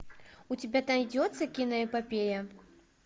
у тебя найдется киноэпопея